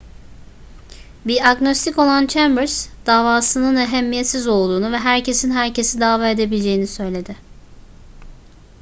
bir agnostik olan chambers davasının ehemmiyetsiz olduğunu ve herkesin herkesi dava edebileceğini söyledi